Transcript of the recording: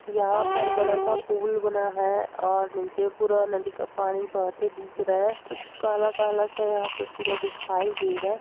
यहाँ पर बड़ा सा पुल बना है और नीचे पूरा नदी का पानी बहते दिख रहा है कुछ काला काला सा यहाँ पे पूरा दिखाई दे रहा है।